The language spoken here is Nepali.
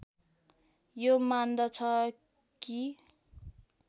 यो मान्दछ कि